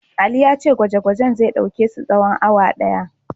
Ali ya ce gwaje-gwajen zai ɗauke su tsawon awa ɗaya.